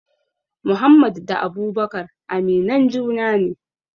Muhammad da abubakar aminan juna ne